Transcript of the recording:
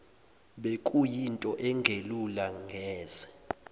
bekuyinto engelula neze